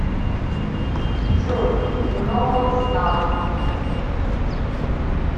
джой многознал